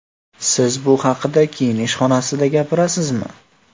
Siz bu haqida kiyinish xonasida gapirasizmi?